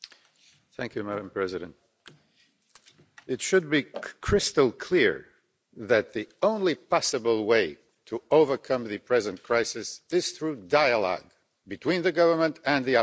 Madam President, it should be crystal clear that the only possible way to overcome the present crisis is through dialogue between the government and the opposition.